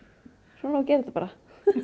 svona á að gera þetta bara